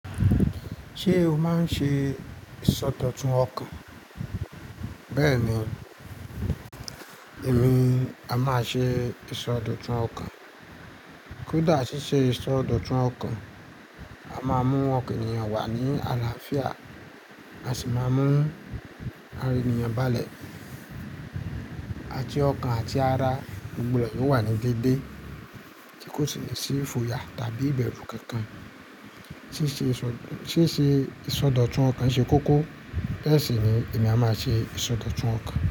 Ṣé o máa ń ṣe ìsọdọ̀tun ọkàn? Bẹ́ẹ̀ ni, èmi a máa ṣe ìsọdọ̀tun ọkàn. Kódà ṣí ṣe ìsọdọ̀tun ọkàn, a máa mú ọkàn ènìyàn wà ní àlàáfíà, a sì máa mú ara ènìyàn balẹ̀. Ati ọkàn àti ara gbogbo rẹ̀ yóò wà ní dẹ́dẹ́ tí kò sì ní ṣí ifoya tàbí ìbẹ̀rù kankan. Sí ṣe ìsọdọ̀tun ọkàn ṣe kókó, bẹ́ẹ̀ sì ni èmi a máa ṣe ìsọdọ̀tun ọkàn.